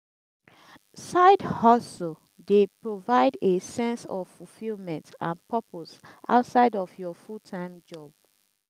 side-hustle dey provide a sense of fulfillment and purpose outside of your full-time job.